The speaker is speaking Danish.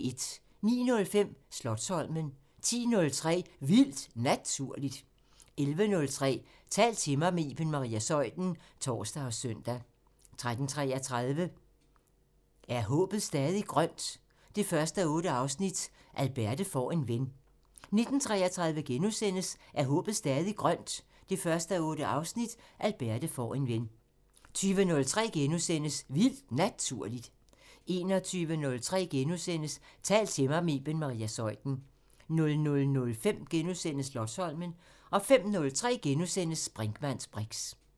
09:05: Slotsholmen 10:03: Vildt Naturligt 11:03: Tal til mig – med Iben Maria Zeuthen (tor og søn) 13:33: Er håbet stadig grønt? 1:8 – Alberte får en ven 19:33: Er håbet stadig grønt? 1:8 – Alberte får en ven * 20:03: Vildt Naturligt * 21:03: Tal til mig – med Iben Maria Zeuthen * 00:05: Slotsholmen * 05:03: Brinkmanns briks *